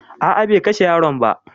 A'a be kashe yaron ba